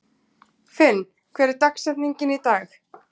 Finn, hver er dagsetningin í dag?